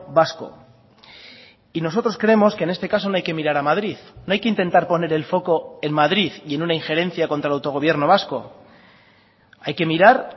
vasco y nosotros creemos que en este caso no hay que mirar a madrid no hay que intentar poner el foco en madrid y en una injerencia contra el autogobierno vasco hay que mirar